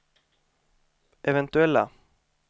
eventuella